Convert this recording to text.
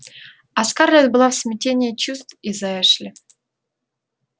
а скарлетт была в смятении чувств из-за эшли